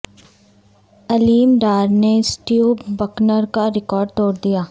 علیم ڈار نے Steve Bucknor کا record توڑ دیا